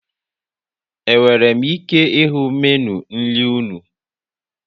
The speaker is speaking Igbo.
E nwere m ike ịhụ Meenụ nri unu?